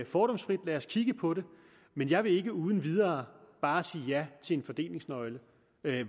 fordomsfrit lad os kigge på det men jeg vil ikke uden videre bare sige ja til en fordelingsnøgle